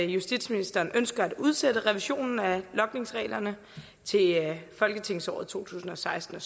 justitsministeren ønsker at udsætte revisionen af logningsreglerne til folketingsåret to tusind og seksten